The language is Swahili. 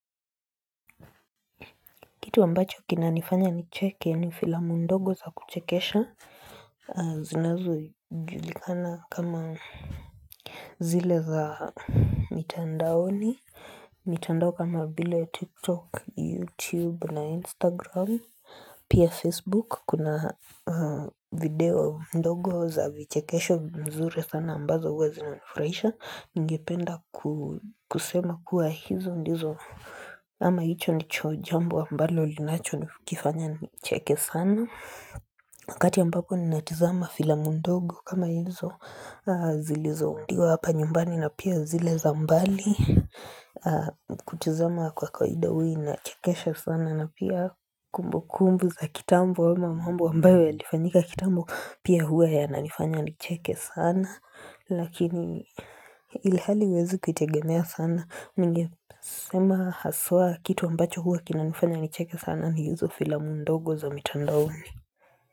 Kitu ambacho kina nifanya ni cheke ni filamu ndogo za kuchekesha zinazo julikana kama zile za mitandaoni mitandao kama vile tiktok youtube na instagram Pia Facebook kuna video ndogo za vichekesho mzure sana ambazo uwe zinaunifuraisha Ngependa kusema kuwa hizo ndizo ama hicho ni chojambo ambalo linacho ni kifanya nicheke sana Wakati ambako ni natizama fila mndogo kama hizo zilizo undiwa hapa nyumbani na pia zile zambali Kutuzama kwa kawawida na chekesha sana na pia kumbu kumbu za kitambo Wama mwambo wambayo ya nifanyika kitambo Pia huwa ya nanifanya nicheke sana Lakini ilihali wezi kitegemea sana Ninge sema haswa kitu ambacho huwa kinanifanya nicheke sana Niizo filam ndogo za mitandooni.